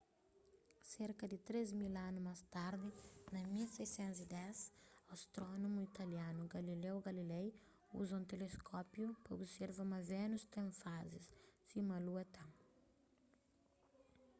serka di três mil anu más tardi na 1610 astrónomu italianu galileo galilei uza un teleskópiu pa observa ma vénus ten fazis sima lua ten